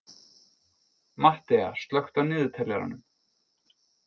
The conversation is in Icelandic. Mattea, slökktu á niðurteljaranum.